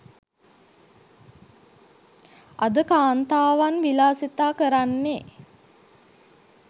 අද කාන්තාවන් විලාසිතා කරන්නේ